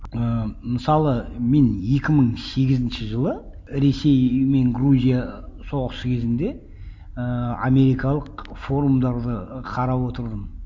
ыыы мысалы мен екі мың сегізінші жылы ресей мен грузия соғысы кезінде ііі америкалық форумдарды қарап отырдым